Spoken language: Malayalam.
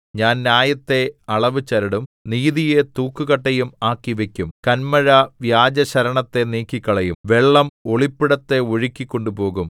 ഞാൻ ന്യായത്തെ അളവുചരടും നീതിയെ തൂക്കുകട്ടയും ആക്കിവയ്ക്കും കന്മഴ വ്യാജശരണത്തെ നീക്കിക്കളയും വെള്ളം ഒളിപ്പിടത്തെ ഒഴുക്കി കൊണ്ടുപോകും